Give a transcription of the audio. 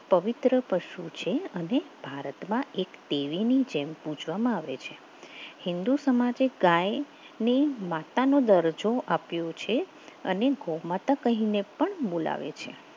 પવિત્ર પશુ છે અને ભારતમાં એક દેવીની જેમ પૂજવામાં આવે છે હિન્દુ સમાજ એ ગાય માતાનો દરજ્જો આપ્યો છે અને ગૌ માતા કહીને પણ બોલાવે છે.